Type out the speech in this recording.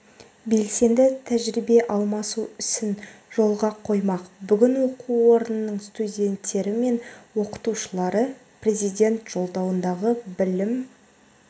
белсенді тәжірибе алмасу ісін жолға қоймақ бүгін оқу орнының студенттері мен оқытушылары президент жолдауындағы білім